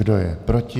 Kdo je proti?